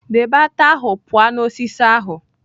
Debe ata ahụ pụọ na osisi ahụ!